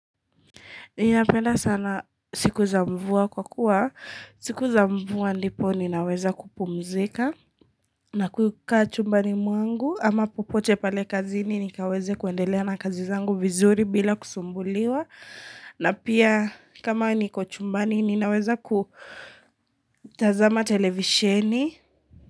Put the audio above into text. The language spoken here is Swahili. Ninapenda sana siku za mvua kwa kuwa, siku za mvua ndipo ninaweza kupumzika na kukaa chumbani mwangu ama popote pale kazi ni nikaweze kuendelea na kazi zangu vizuri bila kusumbuliwa Ninapenda sana siku za mvua kwa kuwa, siku za mvua ndipo ninaweza kupumzika na kukaa chumbani mwangu ama popote pale kazini nikaweze kuendelea na kazi zangu vizuri bila kusumbuliwa.